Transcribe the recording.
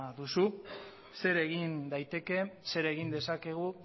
duzu zer egin daiteke zer egin dezakegu